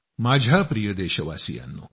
माझ्या प्रिय देशवासियांनो